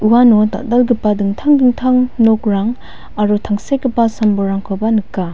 uano dal·dalgipa dingtang dingtang nokrang aro tangsekgipa sam-bolrangkoba nika.